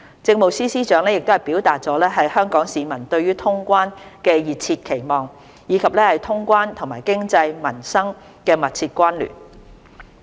政務司司長表達了香港市民對通關的熱切期望，以及通關和經濟、民生的密切關聯。